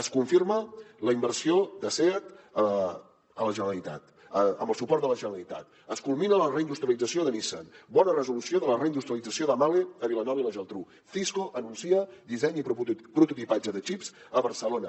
es confirma la inversió de seat amb el suport de la generalitat es culmina la reindustrialització de nissan bona resolució de la reindustrialització de mahle a vilanova i la geltrú cisco anuncia disseny i prototipatge de xips a barcelona